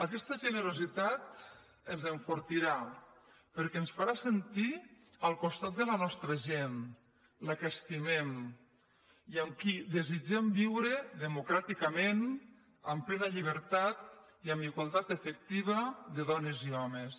aquesta generositat ens enfortirà perquè ens farà sentir al costat de la nostra gent la que estimem i amb qui desitgem viure democràticament amb ple·na llibertat i amb igualtat efectiva de dones i homes